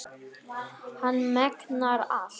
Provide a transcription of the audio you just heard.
Hann megnar allt.